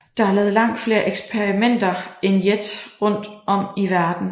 Der er lavet langt flere eksperimenter end JET rundt om i verden